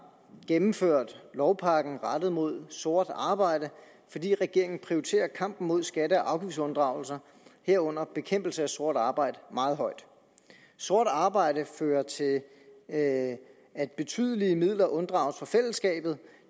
gennemført lovpakken rettet mod sort arbejde fordi regeringen prioriterer kampen mod skatte og afgiftsunddragelser herunder bekæmpelse af sort arbejde meget højt sort arbejde fører til at at betydelige midler unddrages fællesskabet